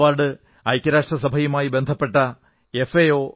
ഈ അവാർഡ് ഐക്യരാഷ്ട്ര സഭയുമായി ബന്ധപ്പെട്ട എഫ്